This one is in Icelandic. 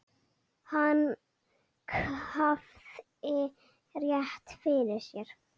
Hann hafði rétt fyrir sér.